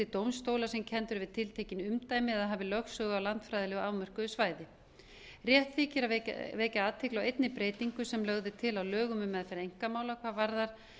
dómstólar sem kenndir eru við tiltekin umdæmi eða hafi lögsögu á landfræðilegu afmörkuðu svæði rétt þykir að vekja athygli á einni breytingu sem lögð er til á lögum um meðferð einkamála hvað varðar